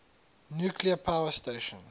nuclear power station